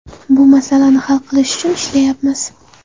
Bu masalani hal qilish uchun ishlayapmiz.